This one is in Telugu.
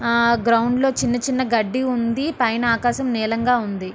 ఆ గ్రౌండ్ లో చిన్నచిన్న గడ్డి ఉంది పైన ఆకాశం నీళ్ళంగా ఉంది.